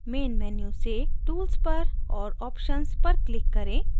main menu से tools पर और options पर click करें